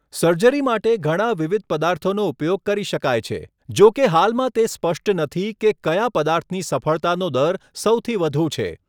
Surgery માટે ઘણા વિવિધ પદાર્થોનો ઉપયોગ કરી શકાય છે, જોકે હાલમાં તે સ્પષ્ટ નથી કે કયા પદાર્થની સફળતાનો દર સૌથી વધુ છે.